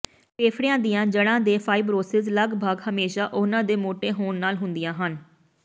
ਫੇਫੜਿਆਂ ਦੀਆਂ ਜੜ੍ਹਾਂ ਦੇ ਫਾਈਬਰੋਸਿਸ ਲਗਭਗ ਹਮੇਸ਼ਾ ਉਹਨਾਂ ਦੇ ਮੋਟੇ ਹੋਣ ਨਾਲ ਹੁੰਦੀਆਂ ਹਨ